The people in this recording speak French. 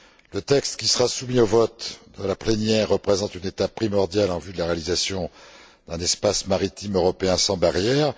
Le texte qui sera soumis au vote de la plénière représente une étape primordiale en vue de la réalisation d'un espace maritime européen sans barrières.